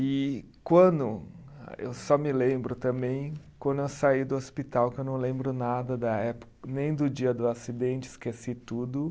E quando, eu só me lembro também, quando eu saí do hospital, que eu não lembro nada da época, nem do dia do acidente, esqueci tudo.